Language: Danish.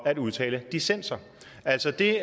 at udtale dissenser altså det